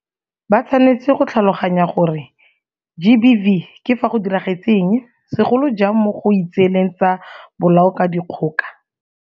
Ba tshwanetse go tlhaloganya gore GBV ke fa go diragetse eng, segolo jang mo go itseeleng tsa bolao ka dikgoka.